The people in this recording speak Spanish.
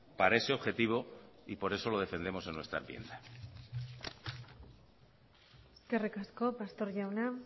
para ese objetivo y por eso lo defendemos en nuestra enmienda eskerrik asko pastor jauna